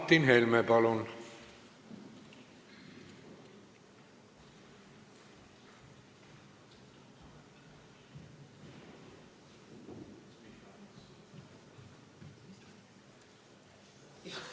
Martin Helme, palun!